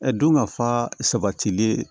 don ka fa sabatilen